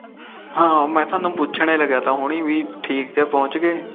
ਹਾ ਮੈ ਥੋਨੂੰ ਪੁਸ਼ਣ ਲੱਗ ਕੀ ਠੀਕ ਪਹੁੰਚ ਗੇ